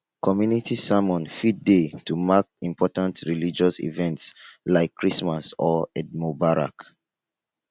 community sermon fit dey to mark important religious events like christmas or eid mubarak